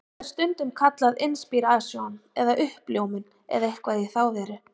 Þetta er stundum kallað inspírasjón eða uppljómun eða eitthvað í þá veru.